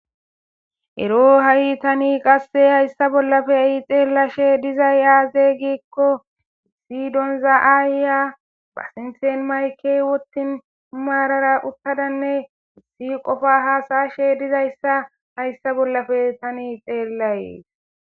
Ero ha'i tani qasse hayssa bollappe xeellashe dizay aaze gikko vidon aayya ba sinthan mayike wottin maarara uttadanne issi qofa haasayashe diza issa hayssa bollappe tani xeellayes.